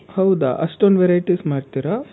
ಹೌದಾ! ಅಷ್ಟೊಂದ್ varieties ಮಾಡ್ತೀರ?